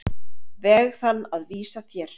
veg þann að vísa þér.